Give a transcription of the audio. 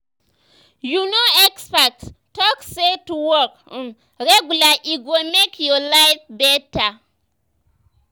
you know experts talk say to walk um regular e go make your life better.